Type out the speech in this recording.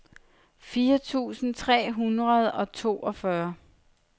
fire tusind tre hundrede og toogfyrre